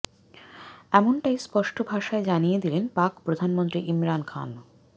এমনটাই স্পষ্ট ভাষায় জানিয়ে দিলেন পাক প্রধানমন্ত্রী ইমরান খান